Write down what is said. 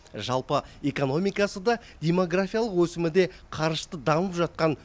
жалпы экономикасы да демографиялық өсімі де қарышты дамып жатқан